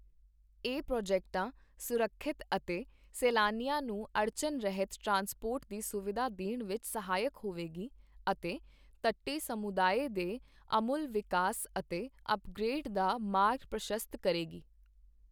ਇਹ ਪ੍ਰੋਜੈਕਟਾਂ ਸੁਰੱਖਿਅਤ ਅਤੇ ਸੈਲਾਨੀਆਂ ਨੂੰ ਅੜਚਨ ਰਹਿਤ ਟ੍ਰਾਂਸਪੋਰਟ ਦੀ ਸੁਵਿਧਾ ਦੇਣ ਵਿੱਚ ਸਹਾਇਕ ਹੋਵੇਗੀ ਅਤੇ ਤੱਟੀ ਸਮੁਦਾਏ ਦੇ ਆਮੁਲ ਵਿਕਾਸ ਅਤੇ ਅੱਪਗ੍ਰੇਡ ਦਾ ਮਾਰਗ ਪ੍ਰਸ਼ਸਤ ਕਰੇਗੀ।